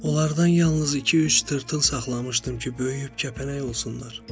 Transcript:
Onlardan yalnız iki-üç tırtıl saxlamışdım ki, böyüyüb kəpənək olsunlar.